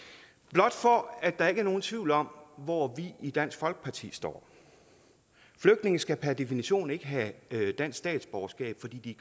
blot for at der ikke er nogen tvivl om hvor vi i dansk folkeparti står flygtninge skal per definition ikke have dansk statsborgerskab fordi de